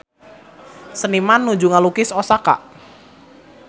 Seniman nuju ngalukis Osaka